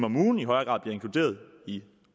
om ugen i højere grad bliver inkluderet i